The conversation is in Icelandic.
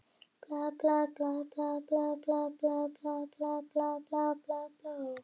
Þegar við komum að gröfinni hafði steininum verið velt frá og enginn sagði